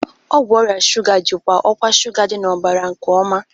Ọgwụ ọrịa shuga jikwaa ọkwa shuga dị n'ọbara nke ọma.